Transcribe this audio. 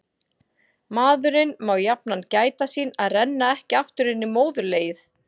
Maðurinn má jafnan gæta sín að renna ekki aftur inn í móðurlegið.